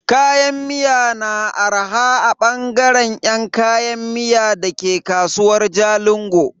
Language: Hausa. Kayan miya na arha a bangare yan kayan miya dake kasuwar Jalingo.